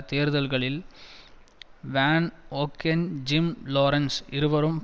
தேர்தல்களில் Van Ogen Jim Lawrence இருவரும்